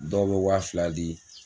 Dɔw bɛ waa fila di